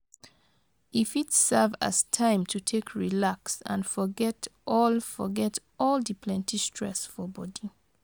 E fit serve as time to take relax and forget all forget all di plenti stress for body